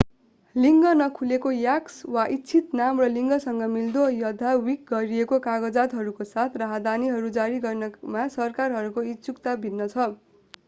लिङ्ग नखुलाएको x वा इच्छित नाम र लिङ्गसँग मिल्दो अद्यावधिक गरिएका कागजातहरूको साथ राहदानीहरू जारी गर्नमा सरकारहरूको इच्छुकता भिन्न छ।